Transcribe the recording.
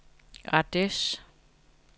Ardeche